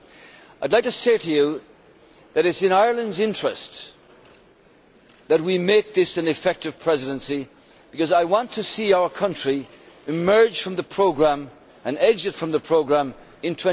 I would like to say to you that it is in Ireland's interest that we make this an effective Presidency, because I want to see our country emerge from the programme and exit from the programme in